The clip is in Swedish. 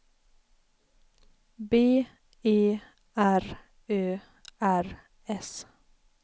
B E R Ö R S